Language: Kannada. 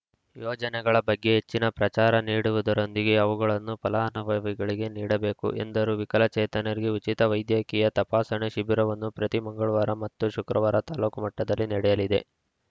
ಯೋಜನೆಗಳ ಬಗ್ಗೆ ಹೆಚ್ಚಿನ ಪ್ರಚಾರ ನೀಡುವುದರೊಂದಿಗೆ ಅವುಗಳನ್ನು ಫಲಾನುಭವಿಗಳಿಗೆ ನೀಡ ಬೇಕು ಎಂದರು ವಿಕಲಚೇತನರಿಗೆ ಉಚಿತ ವೈದ್ಯಕೀಯ ತಪಾಸಣೆ ಶಿಬಿರವನ್ನು ಪ್ರತಿ ಮಂಗಳವಾರ ಮತ್ತು ಶುಕ್ರವಾರ ತಾಲೂಕು ಮಟ್ಟದಲ್ಲಿ ನಡೆಯಲಿದೆ